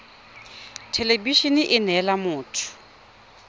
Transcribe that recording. thelebi ene e neela motho